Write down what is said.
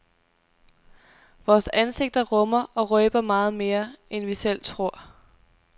Vores ansigter rummer og røber meget mere, end vi selv tror.